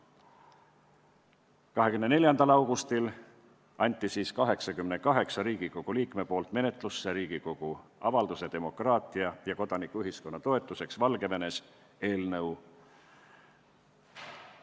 24. augustil anti 88 Riigikogu liikme nimel menetlusse Riigikogu avalduse "Demokraatia ja kodanikuühiskonna toetuseks Valgevenes" eelnõu.